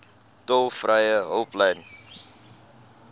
tolvrye hulplyn